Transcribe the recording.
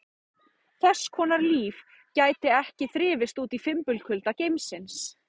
Þess konar líf gæti ekki þrifist úti í fimbulkulda geimsins.